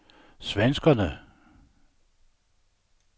svenskerne